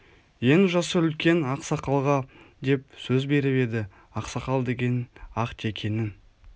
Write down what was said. ең жасы үлкен ақ сақалға деп сөз беріп еді ақсақал деген ақ текенің